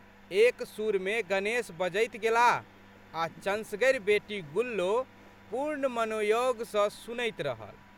एक सुरमे गणेश बजैत गेलाह आ' चन्सगरि बेटी गुल्लो पूर्ण मनोयोग सँ सुनैत रहल।